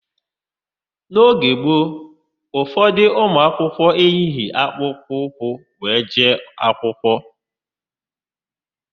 N'oge gboo, ụfọdụ ụmụakwụkwọ eyighị akpụkpọ ụkwụ were jee akwụkwọ.